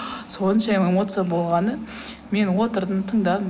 соншама эмоция болғаны мен отырдым тыңдадым